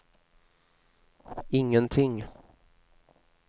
ingenting